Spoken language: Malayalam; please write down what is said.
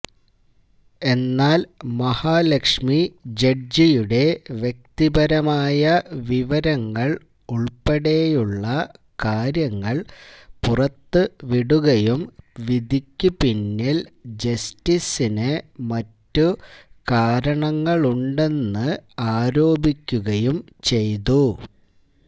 എന്നാൽ മഹാലക്ഷ്മി ജഡ്ജിയുടെ വ്യക്തിപരമായ വിവരങ്ങൾ ഉൾപ്പെടെയുള്ള കാര്യങ്ങൾ പുറത്തുവിടുകയും വിധിക്ക് പിന്നിൽ ജസ്റ്റിസിന് മറ്റു കാരണങ്ങളുണ്ടെന്ന് ആരോപിക്കുകയും ചെയ്തു